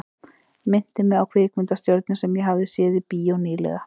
Minnti mig á kvikmyndastjörnu sem ég hafði séð í bíó ný- lega.